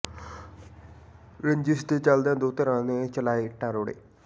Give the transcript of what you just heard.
ਰੰਜਿਸ਼ ਦੇ ਚੱਲਦਿਆਂ ਦੋ ਧਿਰਾਂ ਨੇ ਚਲਾਏ ਇੱਟਾਂ ਰੋੜੇ